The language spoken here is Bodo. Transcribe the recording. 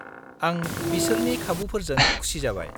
-आं बिसोरनि खाबुफोरजों खुसि जाबाय।